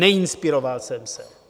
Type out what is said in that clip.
Neinspiroval jsem se.